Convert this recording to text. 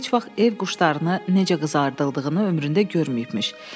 O heç vaxt ev quşunu necə qızardıldığını ömründə görməyibmiş.